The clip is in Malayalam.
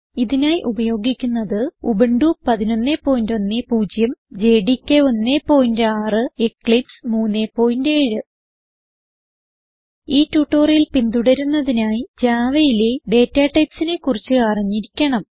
ഇതിനായി ഉപയോഗിക്കുന്നത് ഉബുന്റു 1110 ജെഡികെ 16 എക്ലിപ്സ് 37 ഈ ട്യൂട്ടോറിയൽ പിന്തുടരുന്നതിനായി Javaയിലെ ഡാറ്റ typesനെ കുറിച്ച് അറിഞ്ഞിരിക്കണം